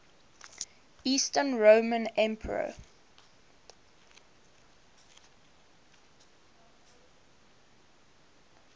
eastern roman emperor